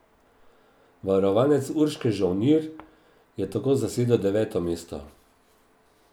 Varovanec Urške Žolnir je tako zasedel deveto mesto.